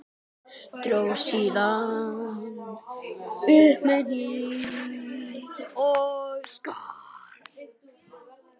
Dró síðan upp hníf og skar.